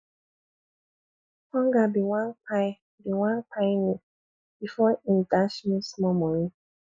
hunger bin wan kpai bin wan kpai me before im dash me small moni